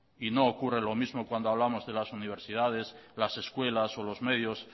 y no ocurre lo mismo cuando hablamos de las universidades las escuelas o los medios